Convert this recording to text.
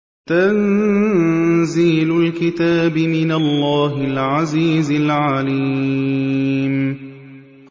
تَنزِيلُ الْكِتَابِ مِنَ اللَّهِ الْعَزِيزِ الْعَلِيمِ